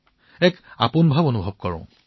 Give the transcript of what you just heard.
মই আপোনত্ব অনুভৱ কৰো